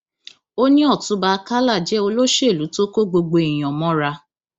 ó ní ọtúnba àkàlà jẹ olóṣèlú tó kó gbogbo èèyàn mọra